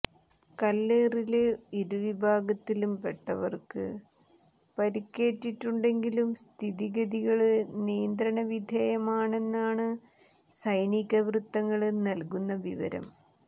കല്ലേറില് ഇരു വിഭാഗത്തിലും പെട്ടവര്ക്ക് പരിക്കേറ്റിട്ടുണ്ടെങ്കിലും സ്ഥിതി ഗതികള് നിയന്ത്രണ വിധേയമാണെന്നാണ് സൈനിക വൃത്തങ്ങള് നല്കുന്ന വിവരം